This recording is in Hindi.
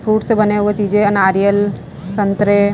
फ्रूट से बने हुए चीजे नारियल संतरे--